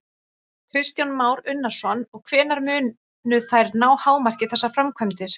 Kristján Már Unnarsson: Og hvenær munu þær ná hámarki, þessar framkvæmdir?